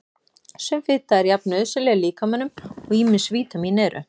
Sum fita er jafn nauðsynleg líkamanum og ýmis vítamín eru.